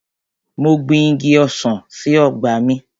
Mo gbin Igi ọsàn sí ọgbà mi.